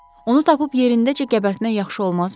Onu tapıb yerindəcə qəbərtmək yaxşı olmazmı?